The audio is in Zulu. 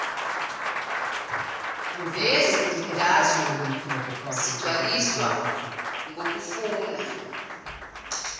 neyezifundazwe zigcwaliswa ngokufuna